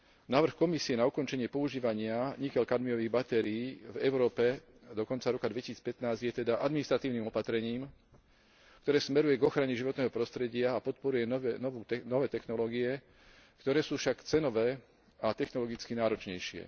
Návrh Komisie na ukončenie používania niklokadmiových batérií v Európe do konca roka 2015 je teda administratívnym opatrením, ktoré smeruje k ochrane životného prostredia a podporuje nové technológie, ktoré sú však cenove a technologicky náročnejšie.